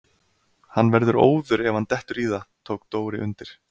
Hann verður óður ef hann dettur í það! tók Dóri undir.